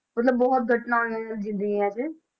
ਮਤਲਬ ਬਹੁਤ ਘਟਨਾ ਹੋਈਆਂ ਜ਼ਿੰਦਗੀਆਂ 'ਚ,